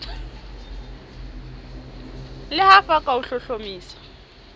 le f ka ho hlohlomisa